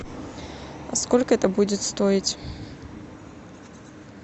сколько это будет стоить